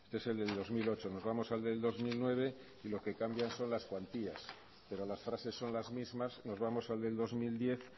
este es el del dos mil ocho nos vamos al del dos mil nueve y lo que cambian son las cuantías pero las frases son las mismas nos vamos al del dos mil diez